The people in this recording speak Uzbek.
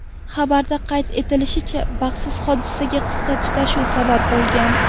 Xabarda qayd etilishicha, baxtsiz hodisaga qisqa tutashuv sabab bo‘lgan.